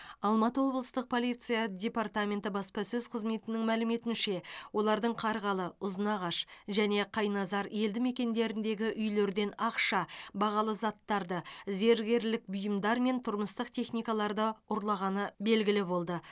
алматы облыстық полиция департаменті баспасөз қызметінің мәліметінше олардың қарғалы ұзынағаш және қайназар елдімекендеріндегі үйлерден ақша бағалы заттарды зергерлік бұйымдар мен тұрмыстық техникаларды ұрлағаны белгілі болды